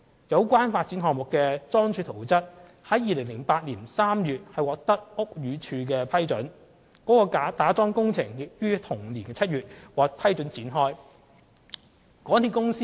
有關發展項目的樁柱圖則於2008年3月獲屋宇署批准，其打樁工程亦於同年7月獲准展開。